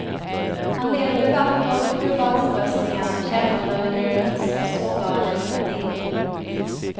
Han leder debatter och klubbar omröstningar och kämpar för regionens sårbara demokrati.